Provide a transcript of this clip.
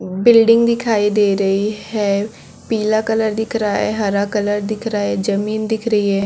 building दिखाई दे रही है हरा पीला कलर दिख रहा है हरा कलर दिख रहा है जमीन दिख रही--